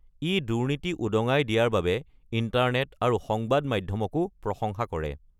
ই দুৰ্নীতি উদঙাই দিয়াৰ বাবে ইণ্টাৰনেট আৰু সংবাদ মাধ্যমকো প্ৰশংসা কৰে।